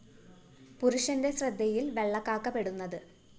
പുരുഷന്റെ ശ്രദ്ധയില്‍ വെള്ളക്കാക്ക പെടുന്നത്